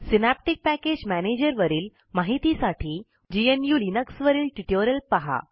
synaptic package manager वरील माहितीसाठी GNU लिनक्सवरील ट्युटोरियल पहा